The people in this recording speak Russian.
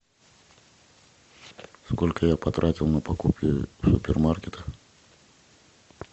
сколько я потратил на покупки в супермаркетах